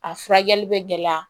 A furakɛli bɛ gɛlɛya